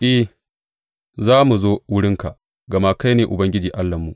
I, za mu zo wurinka, gama kai ne Ubangiji Allahnmu.